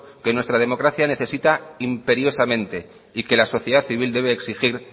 que nuestra democracia necesita imperiosamente y que la sociedad civil debe exigir